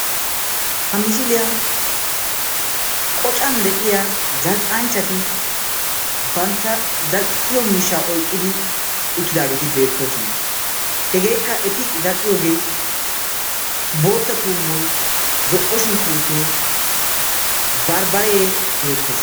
Ha misiliyan qocan de'iya zal'ianchchati bantta zal'iyo miishshaa oyiqqidi uttidaageeti beettoosona. Hegeekka eti zal'iyogee bootta tuummoy, zo'o shunkkuruutee, barbbaree beettes.